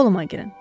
Qoluma girin.